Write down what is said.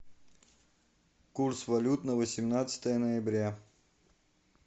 курс валют на восемнадцатое ноября